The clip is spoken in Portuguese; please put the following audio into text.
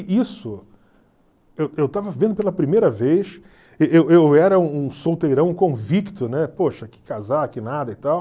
E isso, eu eu estava vendo pela primeira vez, eu eu eu era um solteirão convicto, né, poxa, que casar, que nada e tal.